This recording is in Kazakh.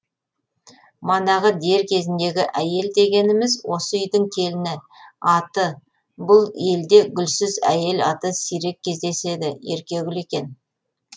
манағы дер кезіндегі әйел дегеніміз осы үйдің келіні аты бұл елде гүлсіз әйел аты сирек кездеседі еркегүл екен